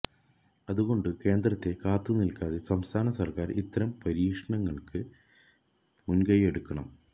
അതുകൊണ്ട് കേന്ദ്രത്തെ കാത്തു നില്ക്കാതെ സംസ്ഥാന സര്ക്കാര് ഇത്തരം പരിശീലനങ്ങള്ക്ക് മുന്കൈയെടുക്കണം